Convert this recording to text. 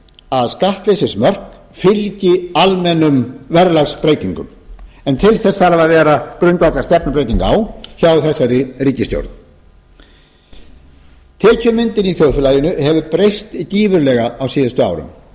að skattleysismörk fylgi almennum verðlagsbreytingum en til þess þarf að vera grundvallarstefnubreyting á hjá þessari ríkisstjórn tekjumyndun í þjóðfélaginu hefur breyst gífurlega á síðustu árum